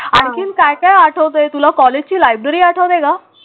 आणखीन काय काय आठवते तुला? कॉलेजची लायब्ररी आठवते का?